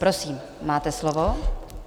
Prosím, máte slovo.